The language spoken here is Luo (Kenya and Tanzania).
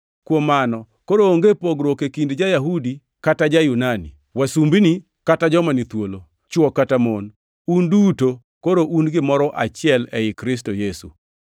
Kuom mano koro onge pogruok e kind ja-Yahudi, kata ja-Yunani; wasumbini kata joma ni thuolo, chwo kata mon. Un duto koro un gimoro achiel ei Kristo Yesu.